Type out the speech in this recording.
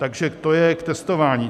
Takže to je k testování.